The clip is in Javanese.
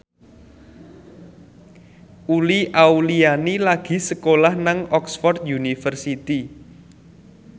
Uli Auliani lagi sekolah nang Oxford university